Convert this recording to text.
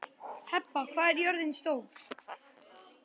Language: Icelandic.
Heba, hvað er jörðin stór?